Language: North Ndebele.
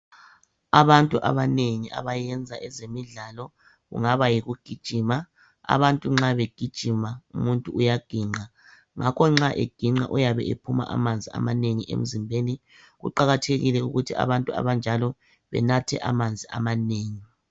Abantu abanengi abayenza ezemidlalo kungabe yikugijima ,abamuntu nxa begijima bayabe bephuma amanzi amanengi emzimbeni, kuqakathekile ukuthi abantu abanjalo benathe amanzi amanengi